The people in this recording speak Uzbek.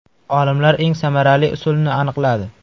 Olimlar eng samarali usulni aniqladi.